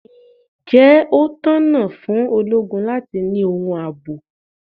Ǹjẹ́ ó tán náà fún ológun láti ni ohun ààbò?